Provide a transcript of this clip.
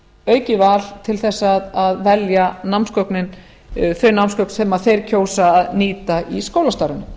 aukið val til þess að velja þau námsgögn sem þeir kjósa að nýta í skólastarfinu